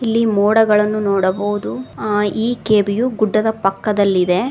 ಇಲ್ಲಿ ಮೋಡಗಳನ್ನು ನೋಡಬಹುದು ಈ ಕೆ_ಬಿ ಯು ಗುಡ್ಡದ ಪಕ್ಕದಲ್ಲಿದೆ.